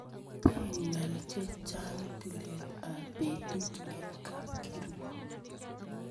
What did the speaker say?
Pee ng'al che chang' tilet ap petut eng' kapkirwok .